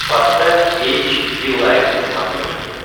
поставь эйч ди лайф на смотрешке